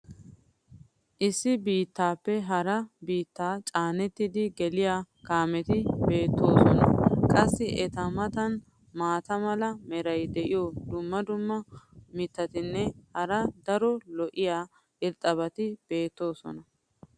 issi biittaaappe hara biittaa caanettidi geliya kaameti beetoosona. qassi eta matan maata mala meray diyo dumma dumma mitatinne hara daro lo'iya irxxabati beetoosona.